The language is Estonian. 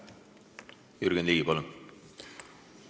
Jürgen Ligi, palun!